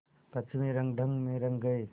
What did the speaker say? पश्चिमी रंगढंग में रंग गए